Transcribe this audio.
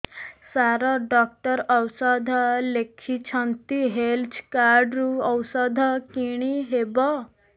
ସାର doctor ଔଷଧ ଲେଖିଛନ୍ତି health card ରୁ ଔଷଧ କିଣି ହେବ